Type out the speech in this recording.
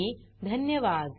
सहभागासाठी धन्यवाद